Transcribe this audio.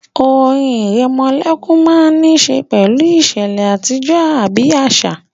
Orin ìrẹmọlẹ́kún máa n ní ṣe pẹ̀lú ìṣẹ̀lẹ̀ àtijọ́ àbí àṣà